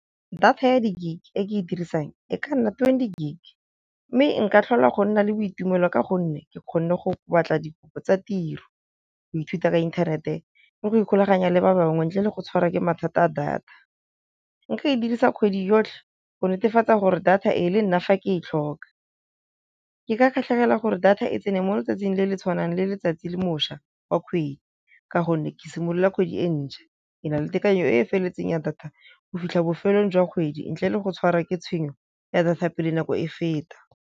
Data ya di-gig e ke e dirisang e ka nna twenty gig, mme nka tlhola go nna le boitumelo ka gonne ke kgone go batla dikopo tsa tiro, go ithuta ka inthanete le go ikgulaganya le ba bangwe ntle le go tshwara ke mathata a data. Nka e dirisa kgwedi yotlhe go netefatsa gore data e le nna fa ke e tlhoka, ke ka kgatlhegela gore data e tsene mo letsatsing le le tshwanang le letsatsi le moša wa kgwedi, ka gonne ke simolola kgwedi e ntšha ke na le tekanyo e felletseng ya data go fitlha bofelong jwa kgwedi, ntle le go tshwara ke tshenyo ya data pele nako e feta.